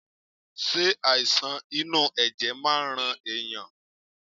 Ṣe àìsàn inú ẹ̀jẹ̀ máa ń rán ẹ̀yàn.?